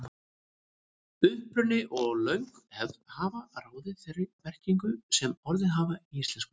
Uppruni og löng hefð hafa ráðið þeirri merkingu sem orðin hafa í íslensku.